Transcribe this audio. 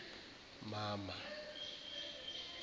mama